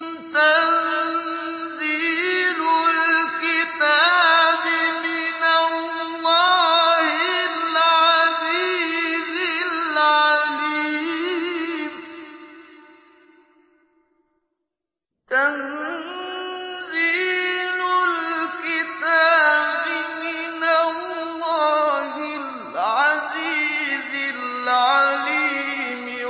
تَنزِيلُ الْكِتَابِ مِنَ اللَّهِ الْعَزِيزِ الْعَلِيمِ